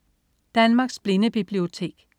Danmarks Blindebibliotek